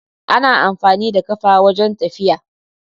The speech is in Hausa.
Ana amfani da ƙafa wajan tafiya